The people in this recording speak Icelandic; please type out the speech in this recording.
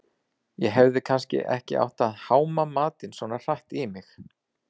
Ég hefði kannski ekki átt að háma matinn svona hratt í mig